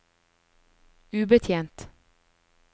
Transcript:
ubetjent